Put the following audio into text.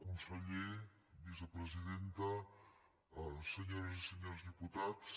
conseller vicepresidenta senyores i senyors diputats